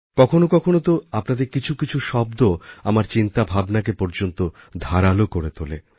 কখনও কখনও তো আপনাদের কিছু কিছু শব্দ আমার চিন্তাভাবনাকে পর্যন্ত ধারালো করে তোলে